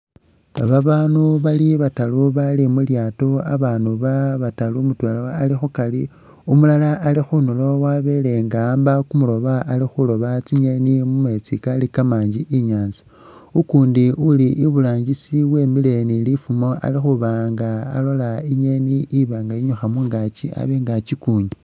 Babandu bali bataru bali mulyato abandu ba bataru mutwela ali kukari umulala ali khunduro wabelenga ahamba kumulobo alikhuloba tsingeeni mumetsi kali kamangi inyanza ukundi uli iburangisi wimile ni lifumo alikhubanga alola ingeeni ibanga inyukha mungakyi abenga akyigunya.